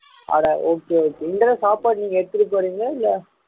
அட okay இந்த தடவை சாப்பாடு நீங்க எடுத்துட்டு போறீங்களா இல்ல